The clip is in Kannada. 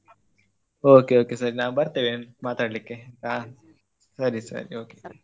Okay okay ಸರಿ ನಾವು ಬರ್ತೇವೆ ಮಾತಾಡ್ಲಿಕ್ಕೆ ಹಾ ಸರಿ ಸರಿ okay .